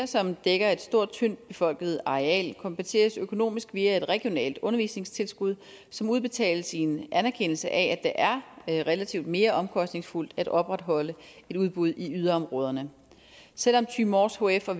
som dækker et stort tyndt befolket areal kompenseres økonomisk via et regionalt undervisningstilskud som udbetales i en anerkendelse af at det er relativt mere omkostningsfuldt at opretholde et udbud i yderområderne selv om thy mors hf og